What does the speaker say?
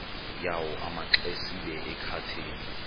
yawo amaxesibe akathethi